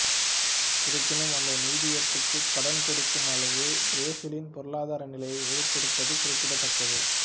இருப்பினும் அந்த நிதியத்துக்கு கடன் கொடுக்கும் அளவு பிரேசிலின் பொருளாதார நிலை உயர்ந்திருப்பது குறிப்பிடத்தக்கது